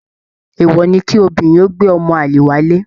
Èèwọ̀ ni kí obìnrin ó gbé ọmọ àlè wálé.